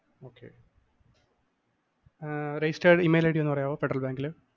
ആഹ് registered email ID ഒന്ന് പറയാമോ ഫെഡറല്‍ബാങ്കിലെ?